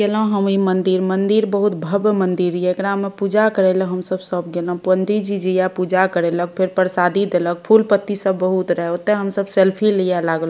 हवे मंदिर मंदिर बहुत भव्य मंदिर एकरा में पूजा करेला हम सब सब गेने पंडित जी जिया पूजा करेला फिर प्रसादी देलक फूल-पत्ती सब बहुत रहे ओते हम सब सेल्फी लिए लागलो --